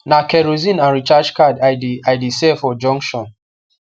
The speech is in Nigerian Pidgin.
na kerosene and recharge card i de i de sell for junction